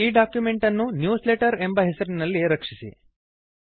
ಈ ಡಾಕ್ಯುಮೆಂಟ್ ಅನ್ನು ನ್ಯೂಸ್ಲೆಟರ್ ಎಂಬ ಹೆಸರಿನಲ್ಲಿ ರಕ್ಷಿಸಿ